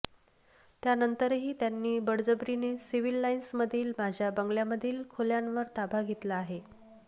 त्यानंतरही त्यांनी बळजबरीने सिव्हिल लाइन्समधील माझ्या बंगल्यामधील खोल्यांवर ताबा घेतला आहे